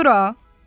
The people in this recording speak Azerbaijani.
Gör a!